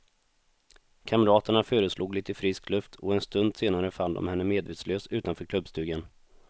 Kamraterna föreslog lite frisk luft och en stund senare fann de henne medvetslös utanför klubbstugan.